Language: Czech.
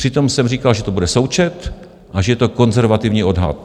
Přitom jsem říkal, že to bude součet a že je to konzervativní odhad.